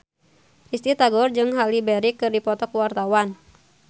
Risty Tagor jeung Halle Berry keur dipoto ku wartawan